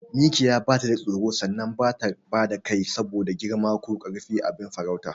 Mikiya batada tsoro sannan bata bada kai saboda girma ko karfin abin farautarta.